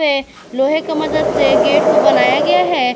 ये लोहे का मदद से गेट को बनाया गया है।